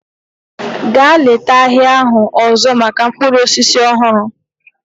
Gaa leta ahịa ahụ ọzọ maka mkpụrụ osisi ọhụrụ!